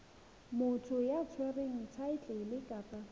motho ya tshwereng thaetlele kapa